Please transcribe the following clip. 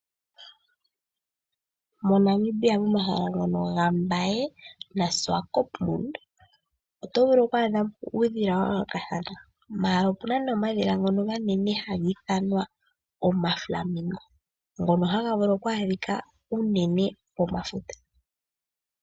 MoNamibia momahala ngono gaMbaye naSwakopmund oto vulu oku adha po uudhila wa yoolokathana, ashike opu na nee omadhila ngoka omanene haga ithanwa omaflamingo ngono haga vulu oku adhika unene komafuta.